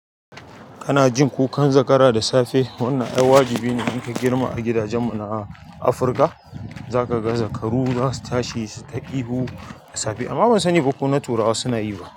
Kana jin kukan zakara da safe? Wannan ai wajibi ne in ka girma a gidajenmu na Afirka. Za ka ga zakaru za su tashi suyi ta ihu, amma ban sani ba ko na turawa ma su na yi ba.